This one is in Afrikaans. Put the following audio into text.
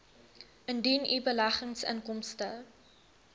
indien u beleggingsinkomste